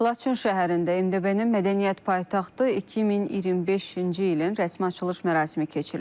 Laçın şəhərində MDB-nin mədəniyyət paytaxtı 2025-ci ilin rəsmi açılış mərasimi keçiriləcək.